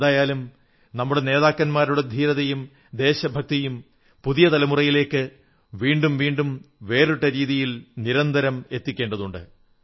എന്തായാലും നമ്മുടെ നേതാക്കന്മാരുടെ ധീരതയും ദേശഭക്തിയും പുതിയ തലമുറയിലേക്ക് വീണ്ടും വീണ്ടും വേറിട്ട രീതികളിൽ നിരന്തരം എത്തിക്കേണ്ടതുണ്ട്